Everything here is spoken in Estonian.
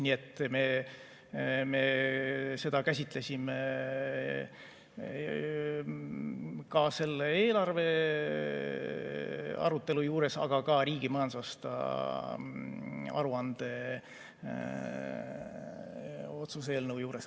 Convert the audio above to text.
Nii et me seda käsitlesime selle eelarve arutelu juures, aga ka riigi majandusaasta aruande otsuse eelnõu juures.